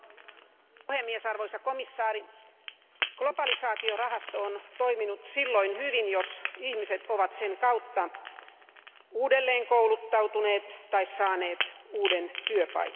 Arvoisa puhemies, arvoisa komissaari, globalisaatiorahasto on toiminut silloin hyvin, jos ihmiset ovat sen kautta uudelleenkouluttautuneet tai saaneet uuden työpaikan.